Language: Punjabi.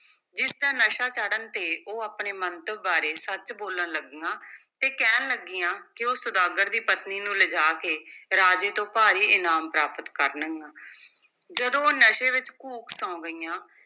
ਜਿਸ ਦਾ ਨਸ਼ਾ ਚੜ੍ਹਨ ਤੇ ਉਹ ਆਪਣੇ ਮੰਤਵ ਬਾਰੇ ਸੱਚ ਬੋਲਣ ਲੱਗੀਆਂ ਤੇ ਕਹਿਣ ਲੱਗੀਆਂ ਕਿ ਉਹ ਸੁਦਾਗਰ ਦੀ ਪਤਨੀ ਨੂੰ ਲਿਜਾ ਕੇ ਰਾਜੇ ਤੋਂ ਭਾਰੀ ਇਨਾਮ ਪ੍ਰਾਪਤ ਕਰਨਗੀਆਂ ਜਦੋਂ ਉਹ ਨਸ਼ੇ ਵਿੱਚ ਘੂਕ ਸੌਂ ਗਈਆਂ,